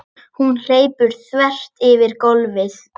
Hún hleypur þvert yfir gólfið.